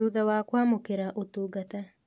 Thutha wa kwamũkĩra ũtungata